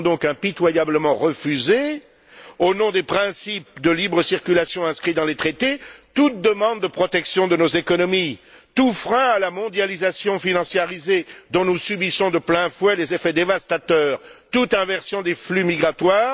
Seront donc impitoyablement refusés, au nom des principes de libre circulation inscrits dans les traités, toute demande de protection de nos économies, tout frein à la mondialisation financiarisée dont nous subissons de plein fouet les effets dévastateurs, toute inversion des flux migratoires.